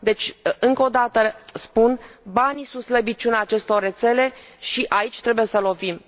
Deci, încă o dată spun banii sunt slăbiciunea acestor rețele și aici trebuie să lovim.